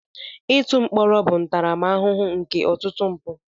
Ịtụ mkpọrọ bụ ntaramahụhụ nke ọtụtụ mpụ.